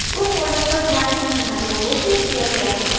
उस folder पर जाएँ जहाँ logo सेव किया गया है